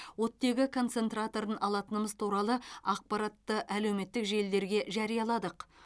оттегі концентраторын алатынымыз туралы ақпаратты әлеуметтік желілерге жарияладық